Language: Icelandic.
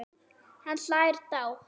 Hann hlær dátt.